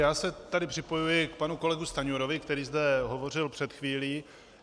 Já se tedy připojuji k panu kolegu Stanjurovi, který zde hovořil před chvílí.